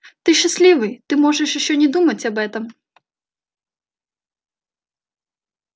ты счастливый ты можешь ещё не думать об этом